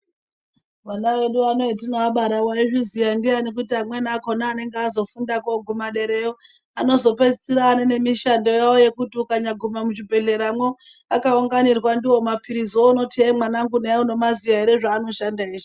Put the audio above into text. Vana vedu hetinooabara wazviziya ndiyani kuti amweni akhona anenge azofunda koguma derayo anozopeisira aane nemishando yawo yekuti ukanyaguma muchibhedhleramwo akaunganirwa ndiwo mapiliziwo unoti hee mwanangu nayi unomaziya ere zvaanoshanda eshe.